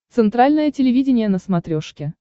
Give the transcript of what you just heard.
центральное телевидение на смотрешке